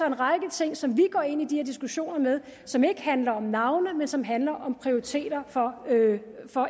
en række ting som vi går ind i de her diskussioner med og som ikke handler om navne men som handler om prioriteter for